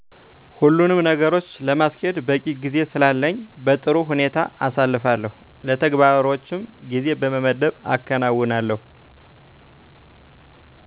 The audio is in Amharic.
ሁሉኑም ነገሮች ለማስኬድ በቂ ጊዜ ስላለኝ በጥሩ ሁኔታ አሳልፋለሁ። ለተግባሮችም ጊዜ በመመደብ አከናዉናለሁ።